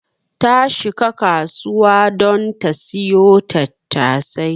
Ta shika kasuwa don ta siyo tattasai.